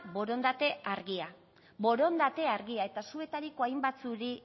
borondate argia eta zuetariko hain batzueri